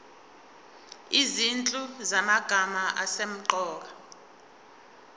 izinhlu zamagama asemqoka